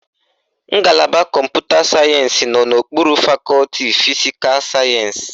Ngalaba Kọmputa sayensị nọ n'okpuru fakọti fisikal sayensị